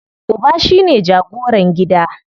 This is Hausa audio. Uba shine jagoran gida.